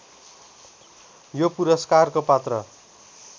यो पुरस्कारको पात्र